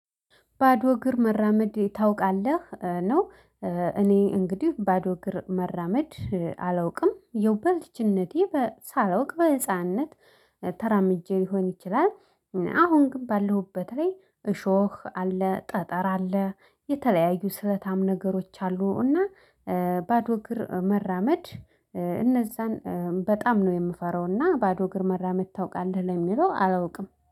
ባዶ እግር መራመድ ታውቃለህ ነው። እኔ እንግዲህ ባዶ እግር መራመድ አላውቅም። ያው በልጅነቴ ሳላውቅ በህፃንነት ተራምጄ ሊሆን ይችላል። አሁን ግን ባለሁበት ላይ እሾህ አለ ጠጠር አለ የተለያዩ ስለታም ነገሮች አሉ። እና ባዶ እግር መራመድ እነዛን በጣም ነው የምፈራው። እና ባዶ እግር መራመድ ታውቃለህ ለሚለው አላውቅም